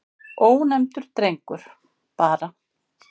Ónefndur drengur: Bara.